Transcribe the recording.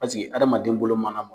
Pasiki hadamaden bolo mana